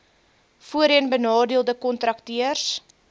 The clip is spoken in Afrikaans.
voorheen benadeelde kontrakteurs